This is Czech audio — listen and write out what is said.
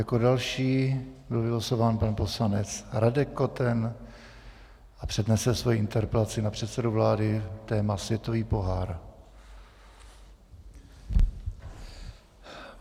Jako další byl vylosován pan poslanec Radek Koten a přednese svoji interpelaci na předsedu vlády - téma světový pohár.